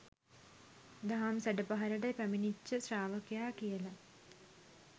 දහම් සැඩ පහරට පැමිණිච්ච ශ්‍රාවකයා කියල.